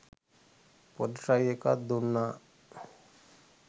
පොඩි ට්‍රයි එකක් දුන්නා